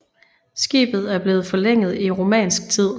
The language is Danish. Skibet er blevet forlænget i romansk tid